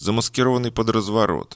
замаскированный под разворот